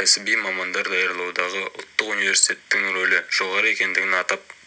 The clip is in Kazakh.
кәсіби мамандар даярлаудағы ұлттық университеттің рөлі жоғары екендігін атап